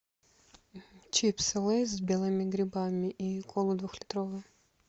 чипсы лейс с белыми грибами и колу двух литровую